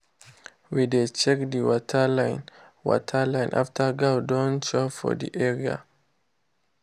we dey check the water line water line after goat don chop for the area.